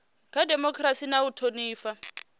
kha dimokirasi na u thonifha